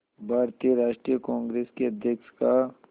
भारतीय राष्ट्रीय कांग्रेस के अध्यक्ष का